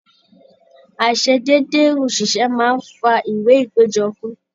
Aiṣedede oṣiṣẹ máa n fà ìwé ìpéjọ fún.